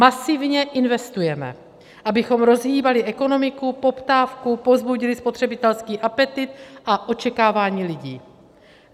Masivně investujeme, abychom rozhýbali ekonomiku, poptávku, povzbudili spotřebitelský apetýt a očekávání lidí.